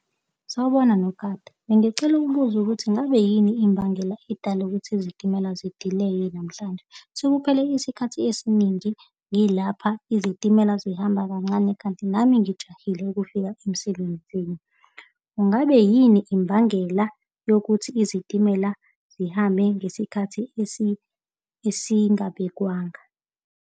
Sawubona, nogada. Bengisacela ukubuza ukuthi ngabe yini imbangela edala ukuthi izitimela zidileye namhlanje. Sekuphele isikhathi esiningi ngilapha izitimela zihamba kancane kanti nami ngijahile ukufika emsebenzini. Kungabe yini imbangela yokuthi izitimela zihambe ngesikhathi esingabekwanga?